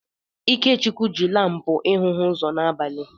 Ikechukwu jị lampu ịhụ hụ ụzọ n'abalị.